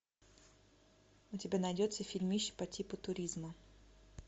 у тебя найдется фильмище по типу туризма